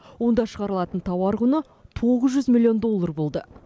онда шығарылатын тауар құны тоғыз жүз миллион доллар болды